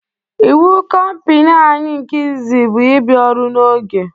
Ịwu compani anyị nke izizi bụ ị bịa ọrụ n'oge